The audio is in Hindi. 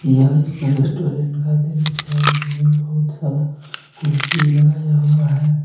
यह एक रेस्टुरेंट का दृश्य है जिनमें बहुत सारा कुर्सी लगाया हुआ है।